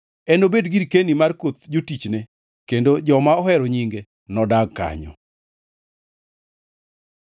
enobed girkeni mar koth jotichne, kendo joma ohero nyinge nodag kanyo.